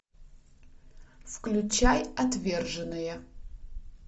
включай отверженные